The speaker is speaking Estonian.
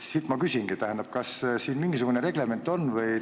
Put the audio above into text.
Ma küsingi: kas siin on mingisugune reglement?